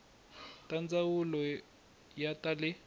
ta ndzawulo ya ta le